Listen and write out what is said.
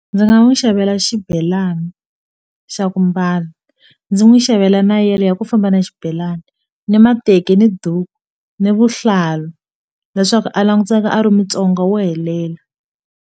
Ndzi nga n'wi xavela xibelani xa ku mbala ndzi n'wi xavela na yele ya ku famba na xibelani ni mateki ni duku ni vuhlalu leswaku a languteka a ri Mutsonga wo helela.